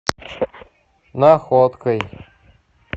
находкой